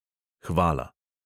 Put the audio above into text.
"Hvala."